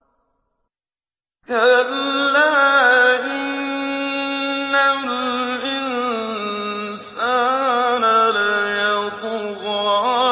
كَلَّا إِنَّ الْإِنسَانَ لَيَطْغَىٰ